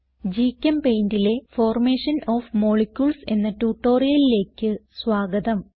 GChemPaintലെ formation of molecules എന്ന ട്യൂട്ടോറിയലിലേക്ക് സ്വാഗതം